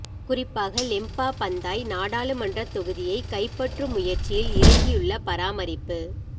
குறிப்பாக Lembah Pantai நாடாளுமன்றத் தொகுதியைக் கைப்பற்றும் முயற்சியில் இறங்கியுள்ள பராமரிப்பு